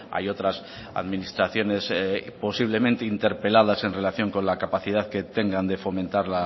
hay otras administraciones posiblemente interpeladas en relación con la capacidad que tengan de fomentar